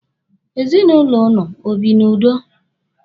Ezinụlọ ụnụ o bi n'udo.